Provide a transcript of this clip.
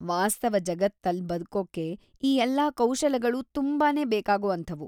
ವಾಸ್ತವ ಜಗತ್ತಲ್ಲ್ ಬದ್ಕೋಕೆ ಈ ಎಲ್ಲಾ ಕೌಶಲಗಳೂ ತುಂಬಾನೇ ಬೇಕಾಗೋ ಅಂಥವು.